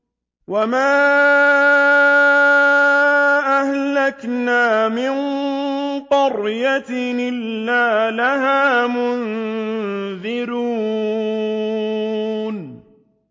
وَمَا أَهْلَكْنَا مِن قَرْيَةٍ إِلَّا لَهَا مُنذِرُونَ